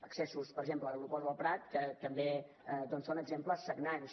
accessos per exemple a l’aeroport del prat que també doncs són exemples sagnants